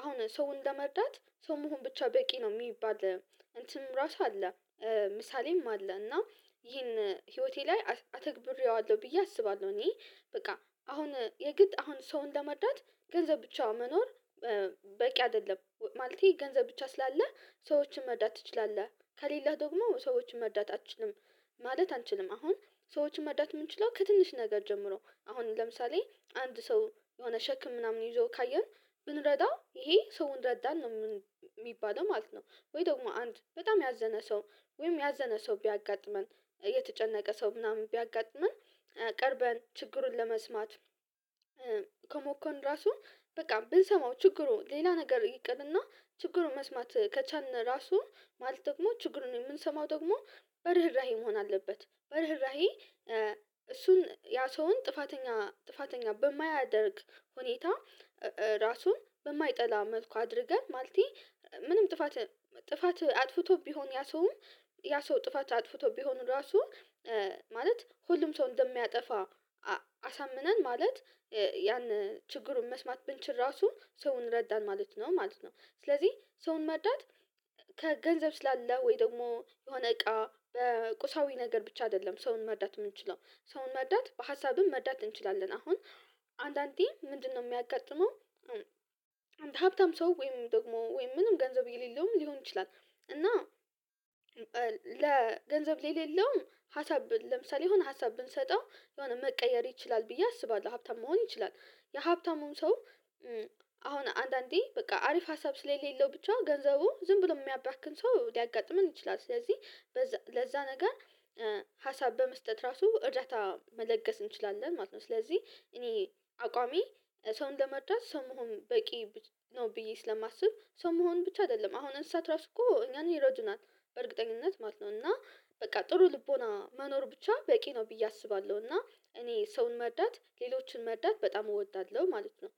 አሁን ሰውን ለመርዳት ሰውን መሆን ብቻ በቂ ነው የሚባል እንትን ራሱ አለ። ምሳሌም አለ እና ይሄን ህይወቴ ላይ አተግብሬዋለሁ ብዬ አስባለሁ። እኔ በቃ አሁን የግድ አሁን ሰውን ለመርዳት ገንዘብ ብቻውን መኖር በቂ አይደለም። ማለቴ ገንዘብ ብቻ ስላለህ ሰዎችን መርዳት ትችላለህ ከሌለህ ደግሞ ሰዎችን መርዳት አትችልም። ማለት አንችልም አሁን ሰዎችን መርዳት የምንችለው ከትንሽ ነገር ጀምሮ አሁን ለምሳሌ አንድ ሰው የሆነ ሸክም ምናምን ይዞ ካየን ብንረዳው ይሄ ሰውን ረዳን ነው የምንለው የሚባለው ማለት ነው። ወይ ደግሞ አንድ በጣም ያዘነ ሰው ወይም ያዘነ ሰው ቢያጋጥመን የተጨነቀ ሰው ምናምን ቢያጋጥመን። ቀርበን ችግሩን ለመስማት ከሞከርን ራሱ በቃ ብንሰማው ችግሩ ሌላ ነገር ይቀልና ችግሩን መስማት ከቻልን ራሱ ማለት ደግሞ ችግሩን የምንሰማው ደግሞ በርህራሄ መሆን አለበት። በርህራሄ እሱን ያ ሰውን ጥፋተኛ ጥፋተኛ በማያደርግ ሁኔታ። ራሱን በማይጠላ መልኩ አድርገን ማለቴ። ምንም ጥፋት ጥፋት አጥፍቶ ቢሆን ያ ሰው ያ ሰው ጥፋት አጥፍቶ ቢሆን ራሱ ማለት ሁሉም ሰው እንደሚያጠፋ። አሳምነን ማለት ያን ችግሩን መስማት ብንችል ራሱ ሰውን ረዳን ማለት ነው። ማለት ነው። ስለዚህ ሰውን መርዳት ከገንዘብ ስላለ ወይ ደግሞ የሆነ እቃ ቁሳዊ ነገር ብቻ አይደለም ሰውን መርዳት የምንችለው ሰውን መርዳት በሀሳብም መርዳት እንችላለን። አሁን አንዳንዴ ምንድነው የሚያጋጥመው ሀብታም ሰው ወይም ደግሞ ወይም ምንም ገንዘብ የሌለውም ሊሆን ይችላል። እና ለገንዘብ ለሌለውም ሀሳብ ለምሳሌ የሆነ ሀሳብ ብንሰጠው የሆነ መቀየር ይችላል ብዬ አስባለሁ። ሀብታም መሆን ይችላል የሀብታሙን ሰው አሁን አንዳንዴ በቃ አሪፍ ሀሳብ ስለሌለው ብቻ ገንዘቡ ዝም ብሎ የሚያባክን ሰው ሊያጋጥመን ይችላል። ስለዚህ ለዛ ነገር ሀሳብ በመስጠት ራሱ እርዳታ መለገስ እንችላለን ማለት ነው። ስለዚህ እኔ አቋሜ ሰውን ለመርዳት ሰው ብቻ መሆን በቂ ነው። ብዬ ስለማስብ ሰው መሆን ብቻ አይደለም። አሁን እንስሳት ራሱ እኮ እኛን ይረዱናል በእርግጠኝነት ማለው እና በቃ ጥሩ ልቦና መኖር ብቻ በቂ ነው ብዬ አስባለሁ። እና እኔ ሰውን መርዳት ሌሎችን መርዳት በጣም እወዳለሁ ማለት ነው።